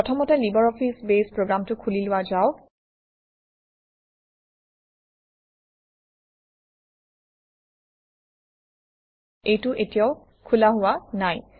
প্ৰথমতে LibreOffice Base প্ৰগ্ৰামটো খুলি লোৱা যাওক এইটো এতিয়াও খোলা হোৱা নাই